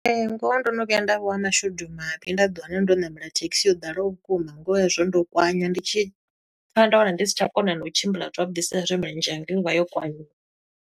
Ee, ngoho ndo no vhuya nda vha wa mashudu mavhi, nda ḓi wana ndo ṋamela thekhisi yo ḓalaho vhukuma. Ngoho hezwo ndo kwanya ndi tshi tsa nda wana ndi si tsha kona no u tshimbila zwavhuḓi sa e zwi milenzhe yanga yo vha yo kwanyiwa.